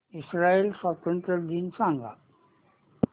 Israel स्वातंत्र्य दिन सांग